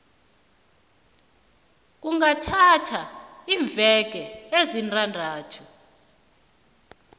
kungathatha iimveke ezisithandathu